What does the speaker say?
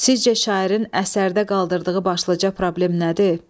Sizcə şairin əsərdə qaldırdığı başlıca problem nədir?